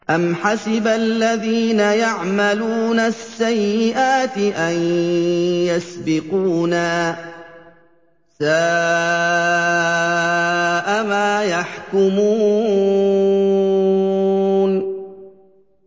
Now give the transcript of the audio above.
أَمْ حَسِبَ الَّذِينَ يَعْمَلُونَ السَّيِّئَاتِ أَن يَسْبِقُونَا ۚ سَاءَ مَا يَحْكُمُونَ